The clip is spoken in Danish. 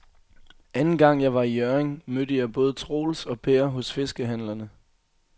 Anden gang jeg var i Hjørring, mødte jeg både Troels og Per hos fiskehandlerne.